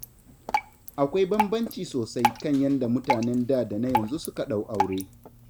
Akwai bambanci sosai kan yanda mutanen da da na yanzu suka ɗau aure.